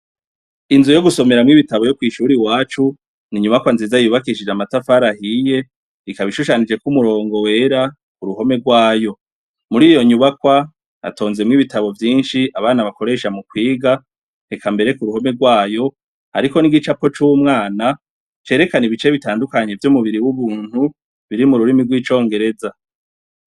Inzu yo gusomeramwo ibitabo yo kw'ishure iwacu, ni inyubakwa nziza cane yubakishijwe amatafari ahiye, ikaba ishushanije ko umurongo wera ku ruhome rwayo. Muri iyo nyubakwa, hatonzemwo ibitabo vyinshi abana bakoresha mu kwiga, eka mbere ku ruhome rwayo, hariko n'igicapo c'umwana cerekana ibice bitandukanye vy'umubiri w'umuntu biri mu rurimi rw'icongereza.